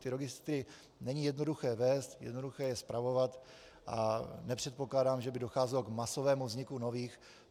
Ty registry není jednoduché vést, jednoduché je spravovat a nepředpokládám, že by docházelo k masovému vzniku nových.